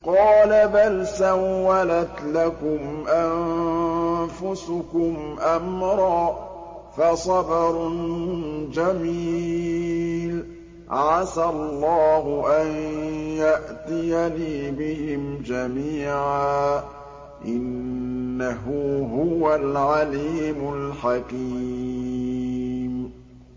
قَالَ بَلْ سَوَّلَتْ لَكُمْ أَنفُسُكُمْ أَمْرًا ۖ فَصَبْرٌ جَمِيلٌ ۖ عَسَى اللَّهُ أَن يَأْتِيَنِي بِهِمْ جَمِيعًا ۚ إِنَّهُ هُوَ الْعَلِيمُ الْحَكِيمُ